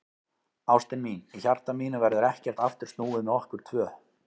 Ástin mín, í hjarta mínu verður ekkert aftur snúið með okkur tvö.